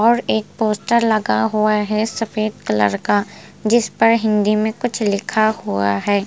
और एक पोस्टर लगा हुआ है सफेद कलर का जिस पर हिन्दी में कुछ लिखा हुआ है।